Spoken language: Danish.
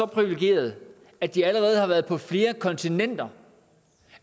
privilegerede at de allerede har været på flere kontinenter